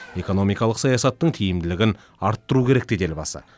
экономикалық саясаттың тиімділігін арттыру керек деді елбасы